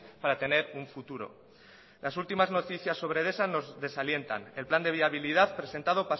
para tener un futuro las últimas noticias sobre edesa nos desalientan el plan de viabilidad presentado